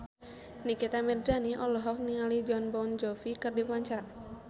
Nikita Mirzani olohok ningali Jon Bon Jovi keur diwawancara